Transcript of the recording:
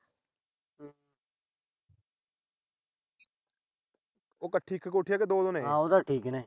ਉਹ ਕੱਠੀ ਇੱਕ ਕੋਠੀ ਆ ਕਿ ਦੋ ਨੇ।